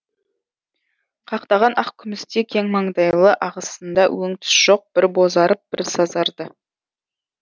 қақтаған ақ күмістей кең маңдайлы ағасында өң түс жоқ бір бозарып бір сазарды